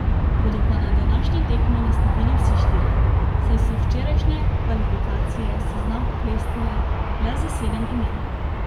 Bodo pa na današnji tekmi nastopili vsi štirje, saj so včerajšnje kvalifikacije seznam oklestile le za sedem imen.